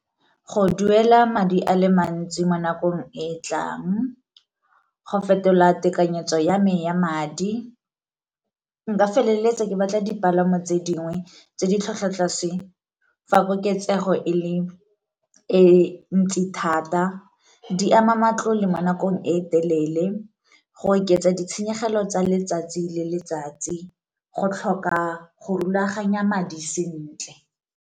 Go duela madi a le mantsi mo nakong e e tlang, go fetola tekanyetso ya me ya madi, nka feleletsa ke batla dipalamo tse dingwe tse di tlhwatlhwa tlase fa koketsego e le e ntsi thata, di ama matlole mo nakong e telele, go oketsa ditshenyegelo tsa letsatsi le letsatsi, go tlhoka go rulaganya madi sentle.